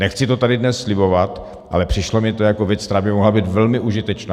Nechci to tady dnes slibovat, ale přišlo mi to jako věc, která by mohla být velmi užitečná.